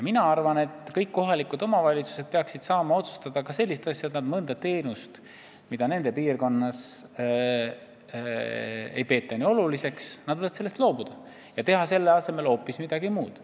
Mina arvan, et kõik kohalikud omavalitsused peaksid saama ise otsustada näiteks selliseid asju, et nad loobuvad mõnest teenusest, mida nende piirkonnas ei peeta nii oluliseks, ja teevad selle asemel hoopis midagi muud.